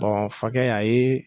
Bɔn a fakɛ y'a yee